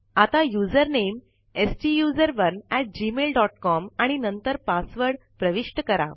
आता user name STUSERONEgmailcom आणि नंतर पासवर्ड प्रविष्ट करा